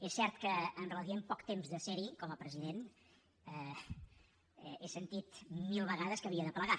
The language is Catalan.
és cert que en relativament poc temps de serhi com a president he sentit mil vegades que havia de plegar